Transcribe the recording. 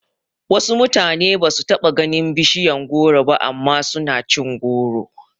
Wasu mutane basu taba ganin bishiyar goro ba amma suna cin goro